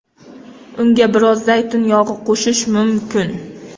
Unga biroz zaytun yog‘i qo‘shish mumkin.